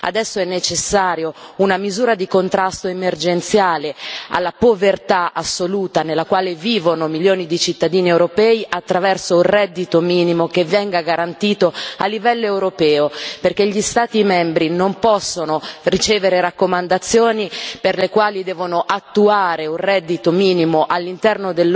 Adesso è necessaria una misura di contrasto emergenziale alla povertà assoluta nella quale vivono milioni di cittadini europei attraverso un reddito minimo che venga garantito a livello europeo, perché gli Stati membri non possono ricevere raccomandazioni per le quali devono attuare un reddito minimo all'interno